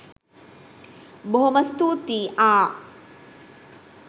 බොහොම ස්තූතී ආ